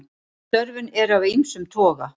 Störfin eru af ýmsum toga.